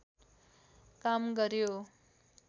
काम गर्‍यो